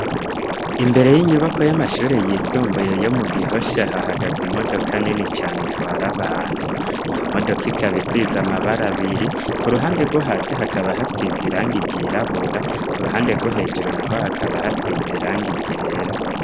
iImbere y'inyubakwa y'amashuri yisumbuye yo mu gihosha hahagaze imodoka nini cane itwara abantu iyo modoka ikaba isize amabara abiri ku ruhande rwo hasi hakaba hasize irange igirabura ku ruhande rwo hejuru na ho hakaba hasize irang igera.